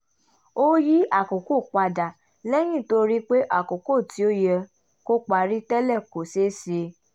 ó yí àkókò padà lẹ́yìn tó rí pé àkókò tí ó yẹ kó parí tẹ́lẹ̀ kò ṣé ṣe